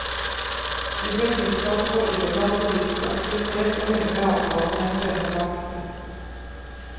De ble tiltalt for illegal politisk aktivitet og hemmelige avtaler med en fremmed makt.